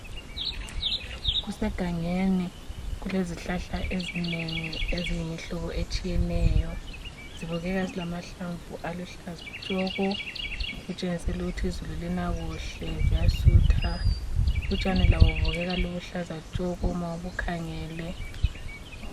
Kusegangeni, kulezihlahla ezinengi eziyimihlobo etshiyeneyo zibukeka zilamahlamvu aluhlaza tshoko okutshengisela ukuthi izulu lina kuhle, ziyasutha. Utshani labo bubukeka buluhlaza tshoko ma ubukhangele.